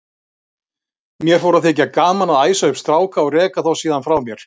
Mér fór að þykja gaman að æsa upp stráka og reka þá síðan frá mér.